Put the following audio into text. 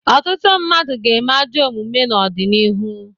Ọtụtụ mmadụ ga-eme ajọ omume n'ọdịnihu.